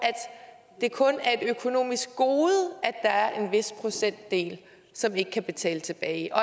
det kun er et økonomisk gode at der er en vis procentdel som ikke kan betale tilbage og